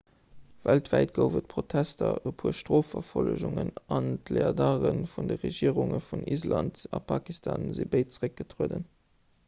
weltwäit gouf et protester e puer strofverfollegungen an d'leadere vun de regierunge vun island a pakistan si béid zeréckgetrueden